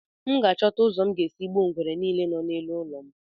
M ga-achọta ụzọ m ga-esi gbuo ngwere niile dị n'elu ụlọ m